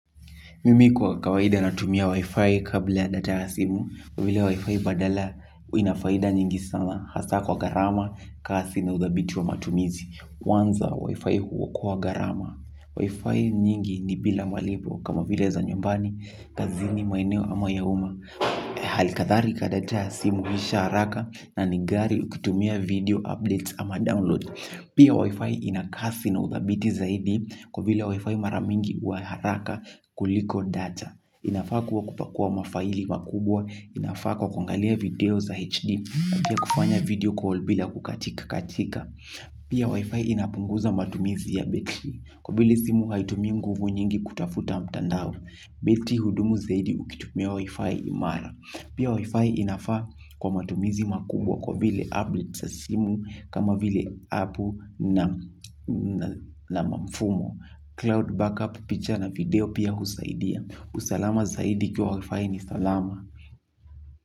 Mimi kwa kawaida natumia wi-fi kabla ya data ya simu. Kwa vile wi-fi badala ina faida nyingi sana. Hasa kwa gharama kasi na udhabiti wa matumizi. Kwanza wi-fi huokoa gharama Wi-fi nyingi ni bila malipo kama vile za nyumbani. Kazini maeneo ama ya uma. Halikatharika data ya simu huisha haraka. Na ni gari ukitumia video updates ama download. Pia wi-fi ina kasi na uthabiti zaidi. Kwa vile wi-fi mara mingi huwa ya haraka kuliko data. Ninafaa kuwa kupakua mafaili makubwa. Ninafaa kwa kuangalia video za HD. Pia kufanya video call bila kukatika katika. Pia Wi-Fi inapunguza matumizi ya betri. Kwa vile simu haitumi nguvu nyingi kutafuta mtandao. Lifti hudumu zaidi ukitumia Wi-Fi imara. Pia Wi-Fi inafaa kwa matumizi makubwa kwa vile applet sa simu kama vile aple na mamfumo. Cloud backup picha na video pia husaidia. Usalama zaidi ikiwa wafai ni salama.